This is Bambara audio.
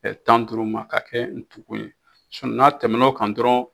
Tan ni duuru ma ka kɛ ntugu ye n'a tɛmɛn'o kan dɔrɔn.